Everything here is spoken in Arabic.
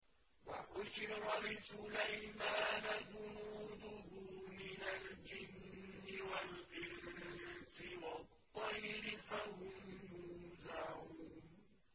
وَحُشِرَ لِسُلَيْمَانَ جُنُودُهُ مِنَ الْجِنِّ وَالْإِنسِ وَالطَّيْرِ فَهُمْ يُوزَعُونَ